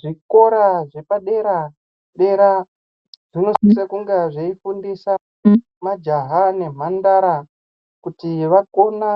Zvikora zvepa dera dera zvinosisa kunge zveifundisa majaya nemhandara kuti vakone